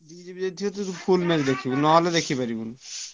Two GB ଯଦି ଥିବ ତୁ full match ଦେଖିବୁ ନହେଲେ ଦେଖିପାରିବୁନି ।